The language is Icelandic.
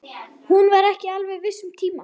Hún var ekki alveg viss um tíma.